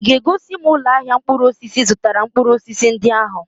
Ị ga-egosi m ụlọ ahịa mkpụrụ osisi ị zụtara mkpụrụ osisi ndị ahụ?